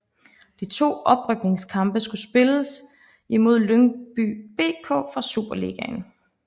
De to oprykningskampe skulle spilles imod Lyngby BK fra Superligaen